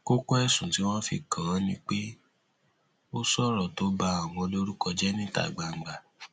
kókó ẹsùn tí wọn fi kàn án ni pé ó sọrọ tó ba àwọn lórúkọ jẹ níta gbangba